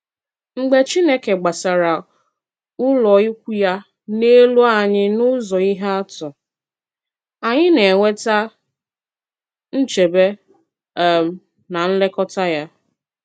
Mgbe Chineke gbàsàrà ụlọikwuu ya n’elu anyị n’ụ̀zọ̀ ihe atụ, anyị na-enweta nchebe um na nlekọta ya.